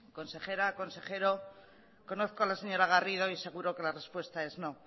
consejera consejero conozco a la señora garrido y seguro que la respuesta es no